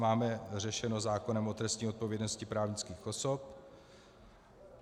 Máme řešeno zákonem o trestní odpovědnosti právnických osob.